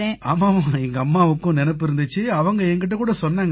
ஆமாம் எங்கம்மாவுக்கு நினைப்பு இருந்திச்சு அவங்க என் கிட்ட சொன்னாங்க